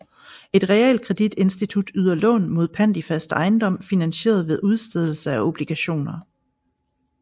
Et realkreditinstitut yder lån mod pant i fast ejendom finansieret ved udstedelse af obligationer